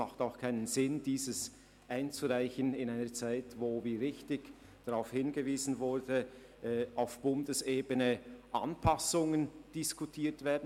Es macht auch keinen Sinn, ein Gesuch in einer Zeit einzureichen, in der – es wurde darauf hingewiesen – auf Bundesebene Anpassungen diskutiert werden.